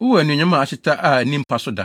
Wowɔ anuonyam a ahyeta a ani mpa so da.